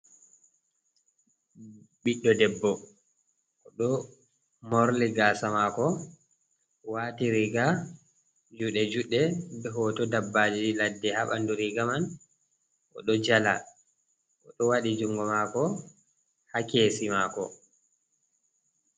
Ɓiɗɗo debbo oɗo morli gaasa mako wati riiga juɗe juɗɗe be hooto dabbaji ladde ha ɓandu riga man, oɗo jala oɗo waɗi jungo maako ha keesi mako.